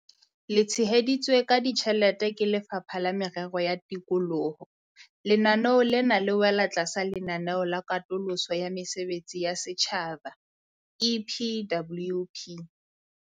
Le tsheheditswe ka ditjhelete ke Lefapha la Merero ya Tikoloho, lenaneo lena le wela tlasa Lenaneo la Katoloso ya Mesebetsi ya Setjhaba, EPWP.